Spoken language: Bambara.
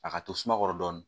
A ka to suma kɔrɔ dɔɔnin